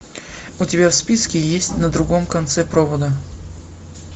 у тебя в списке есть на другом конце провода